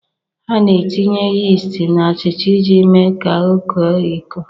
A na-etinye yist na achịcha iji mee ka ọ koo eko